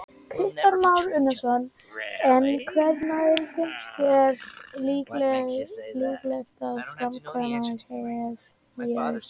Kristján Már Unnarsson: En hvenær finnst þér líklegt að framkvæmdir hefjist?